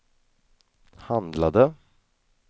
handlade